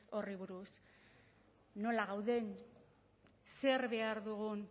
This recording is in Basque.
horri buruz nola gauden zer behar dugun